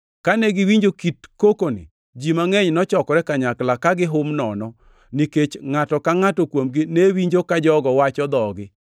Kane giwinjo kit kokoni, ji mangʼeny nochokore kanyakla, ka gihum nono, nikech ngʼato ka ngʼato kuomgi ne winjo ka jogo wacho dhogi.